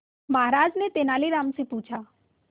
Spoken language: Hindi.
महाराज ने तेनालीराम से पूछा